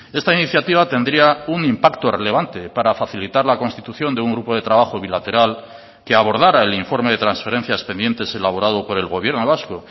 esta iniciativa tendría un impacto relevante para facilitar la constitución de un grupo de trabajo bilateral que abordara el informe de transferencias pendientes elaborado por el gobierno vasco